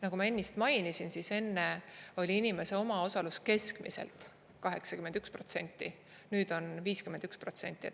Nagu ma ennist mainisin, enne oli inimese omaosalus keskmiselt 81%, nüüd on 51%.